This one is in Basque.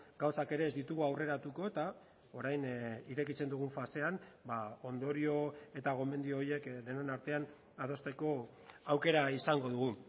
gauzak ere ez ditugu aurreratuko eta orain irekitzen dugun fasean ondorio eta gomendio horiek denon artean adosteko aukera izango dugu